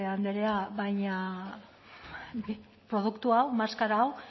andrea baina produktu hau maskara hau